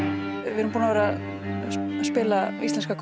við erum búin að spila íslenska